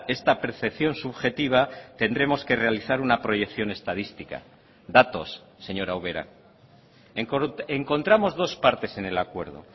esta percepción subjetiva tendremos que realizar una proyección estadística datos señora ubera encontramos dos partes en el acuerdo